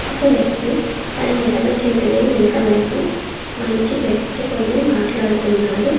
ఒక వ్యక్తి తన ఎడమ చేతిని వెనక వైపు మడిచి పెట్టికొని మాట్లాడుతున్నాడు.